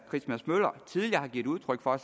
christmas møller tidligere har givet udtryk for